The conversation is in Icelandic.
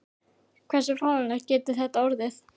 Hversu fáránlegt getur þetta orðið?